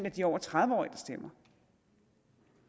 af de over tredive årige der stemmer